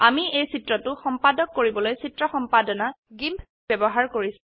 আমি এই চিত্ৰটো সম্পাদক কৰিবলৈ চিত্ৰ সম্পাদনা গিম্প ব্যবহাৰ কৰিছো